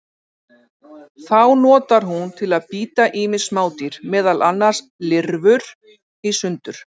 Þá notar hún til að bíta ýmis smádýr, meðal annars lirfur, í sundur.